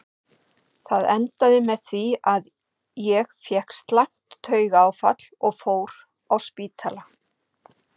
Það endaði með því að ég fékk slæmt taugaáfall og fór á spítala.